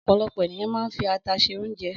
Ọ̀pọ̀lọpọ̀ ènìyàn máa ń fi ata se oúnjẹ.